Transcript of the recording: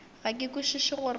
ga ke kwešiše gore o